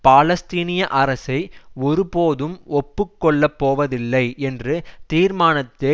பாலஸ்தீனிய அரசை ஒருபோதும் ஒப்புக்கொள்ளப் போவதில்லை என்று தீர்மானத்தை